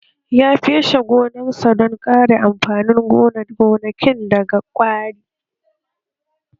Ya feshe gonarsa don kare amfanin gonakin daga ƙwari?